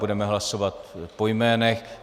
Budeme hlasovat po jménech.